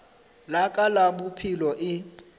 la ka la bophelo e